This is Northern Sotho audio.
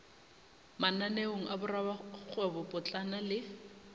mananeong a borakgwebo potlana le